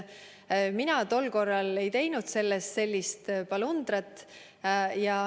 Mina tol korral ei teinud sellist polundrat.